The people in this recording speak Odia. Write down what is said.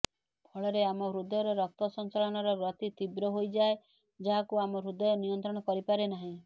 ଫଳରେ ଆମ ହୃଦୟର ରକ୍ତ ସଞ୍ଚାଳନର ଗତି ତୀବ୍ର ହୋଇଯାଏ ଯାହାକୁ ଆମ ହୃଦୟ ନିୟନ୍ତ୍ରଣ କରିପାରେ ନାହିଁ